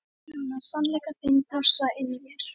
Finna sannleika þinn blossa inni í mér.